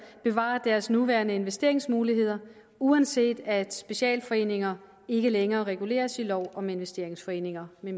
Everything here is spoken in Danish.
bevarer deres nuværende investeringsmuligheder uanset at specialforeninger ikke længere reguleres i lov om investeringsforeninger med